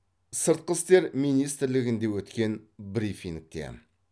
сыртқы істер министрлігіндеде өткен брифингте